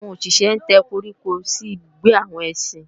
àwọn òṣìṣé ń tẹ́ koríko sí ibùgbé àwọn ẹsín